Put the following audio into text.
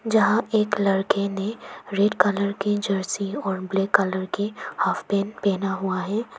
जहां एक लड़के ने रेड कलर की जर्सी और ब्लैक कलर की हाफ पैंट पहना हुआ है।